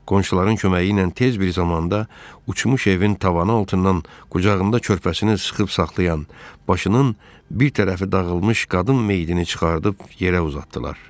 Qonşuların köməyi ilə tez bir zamanda uçmuş evin tavanı altından qucağında körpəsini sıxıb saxlayan, başının bir tərəfi dağılmış qadın meyidini çıxarıb yerə uzatdılar.